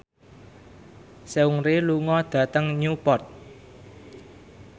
Seungri lunga dhateng Newport